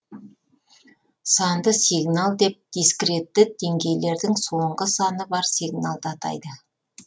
санды сигнал деп дискретті деңгейлердің соңғы саны бар сигналды атайды